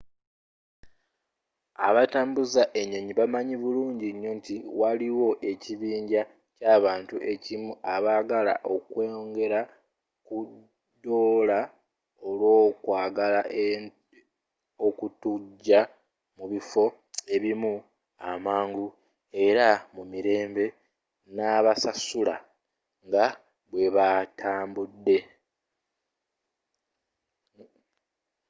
abatambuza enyonyi bamanyi bulungi nnyo nti waliwo ekibinja ky'abantu ekimu abaagala okwongela ku doola olw'okwagala okutuuja mubiffo ebimu amangu era mumirembe nebasasula nga bwebatambudde